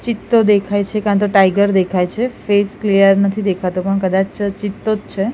ચિત્તો દેખાય છે કા તો ટાઇગર દેખાય છે ફેસ ક્લિયર નથી દેખાતો પણ કદાચ ચિત્તો જ છે.